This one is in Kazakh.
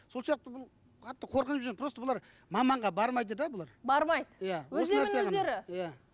сол сияқты бұл қатты қорқып жүр просто бұлар маманға бармайды да бұлар бармайды иә иә